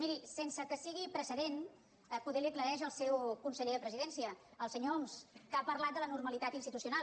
miri sense que sigui precedent potser li ho aclareix el seu conseller de presidència el senyor homs que ha parlat de la normalitat institucional